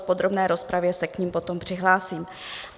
V podrobné rozpravě se k nim potom přihlásím.